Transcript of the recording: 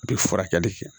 A bɛ furakɛli kɛ